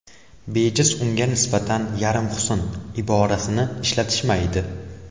Bejiz unga nisbatan yarim husn, iborasini ishlatishmaydi.